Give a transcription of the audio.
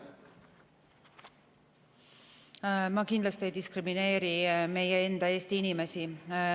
Me kindlasti ei diskrimineeri meie enda Eesti inimesi.